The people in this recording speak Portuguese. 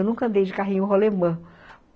Eu nunca andei de carrinho rolemã.